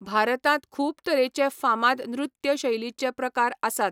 भारतांत खूब तरेचे फामाद नृत्य शैलीचे प्रकार आसात.